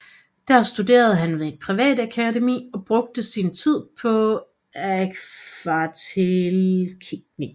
Der studerede han ved et privat akademi og brugte sin tid på akvarelteknik